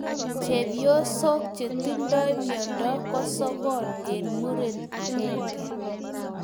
Chepyosok chetindoi miondo ko sokol eng muren akenge